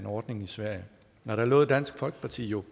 ordning i sverige og der lovede dansk folkeparti jo